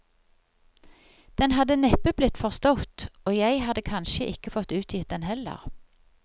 Den hadde neppe blitt forstått, og jeg hadde kanskje ikke fått utgitt den heller.